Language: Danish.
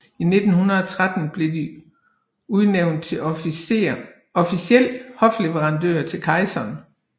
I 1913 blev de udnævnt til officiel hofleverandør til kejseren